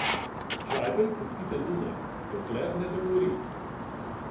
Žajbelj pustite zunaj, dokler ne dogori.